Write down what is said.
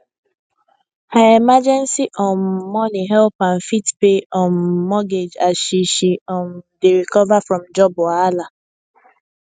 her emergency um money help am fit pay um mortgage as she she um dey recover from job wahala